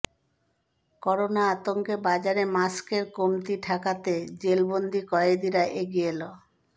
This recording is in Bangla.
করোনা আতঙ্কে বাজারে মাস্কের কমতি ঠেকাতে জেলবন্দি কয়েদিরা এগিয়ে এলো